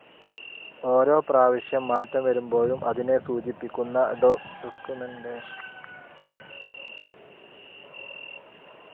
ഓരോ പ്രാവശ്യം മാറ്റം വരുമ്പോഴും അതിനെ സൂചിപ്പിക്കുന്ന ഡോക്കുമെന്റേഷനും തയ്യാറാക്കപ്പെടുന്നു.